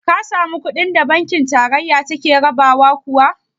Ka samu kuɗin da banki tarayya take rabawa kuwa?